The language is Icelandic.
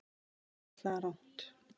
Þetta er einfaldlega alrangt.